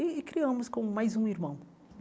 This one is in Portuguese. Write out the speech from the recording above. E criamos como mais um irmão.